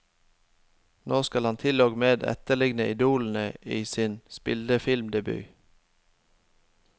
Nå skal han til og med etterligne idolene i sin spillefilmdebut.